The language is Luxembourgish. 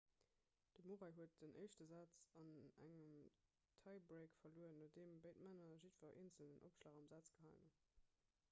de murray huet den éischte saz an engem tie-break verluer nodeem béid männer jiddwer eenzelen opschlag am saz gehalen hunn